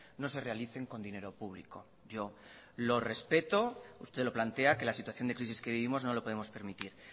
no se realicen con dinero público yo lo respeto usted lo plantea que la situación de crisis que vivimos no lo podemos permitir